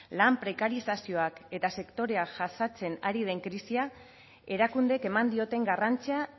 lan prekarizazioak eta sektorea jasaten ari den krisia erakundeek eman dioten garrantzia